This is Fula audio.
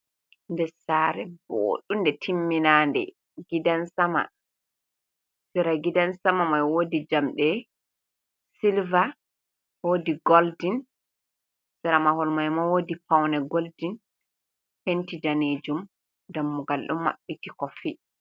Nder saare bounde timminande. Gidan sama, sera gidan sama mai woodi jamɗe silver, woodi golden. Sera mahol mai ma woodi paune golden, penti janejum. Dammugal don maɓɓiti koffi.